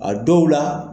A dɔw la